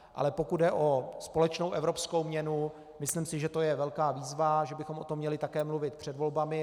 Ale pokud jde o společnou evropskou měnu, myslím si, že je to velká výzva, že bychom o tom měli také mluvit před volbami.